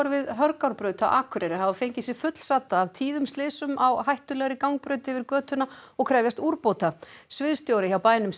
við Hörgárbraut á Akureyri hafa fengið sig fullsadda af tíðum slysum á hættulegri gangbraut yfir götuna og krefjast úrbóta sviðsstjóri hjá bænum